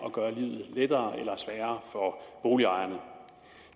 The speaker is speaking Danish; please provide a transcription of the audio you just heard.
at gøre livet lettere eller sværere for boligejerne